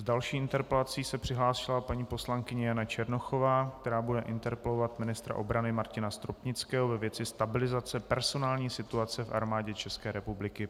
S další interpelací se přihlásila paní poslankyně Jana Černochová, která bude interpelovat ministra obrany Martina Stropnického ve věci stabilizace personální situace v Armádě České republiky.